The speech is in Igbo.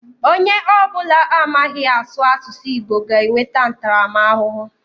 Onye ọ bụla amaghị asụ asụsụ Igbo ga enweta ntaramahụhụ.